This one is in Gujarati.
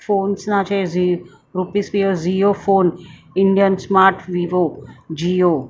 ફોન્સ ના છે ઝી રૂપિસ પી ઝીઓ phone Indian smart Vivo Jio .